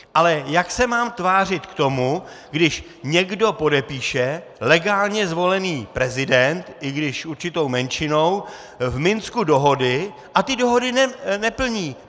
Ale jak se mám tvářit k tomu, když někdo podepíše, legálně zvolený prezident, i když určitou menšinou, v Minsku dohody a ty dohody neplní.